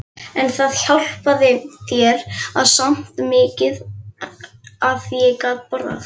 En það hjálpaði mér samt mikið að ég gat borðað.